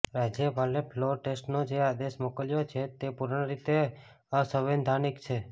રાજ્યપાલે ફ્લોર ટેસ્ટનો જે આદેશ મોકલ્યો છે તે પૂર્ણ રીતે અસંવૈધાનિક છે